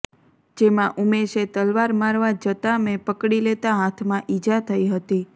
જેમાં ઉમેશે તલવાર મારવા જતાં મેં પકડી લેતાં હાથમાં ઇજા થઇ હતી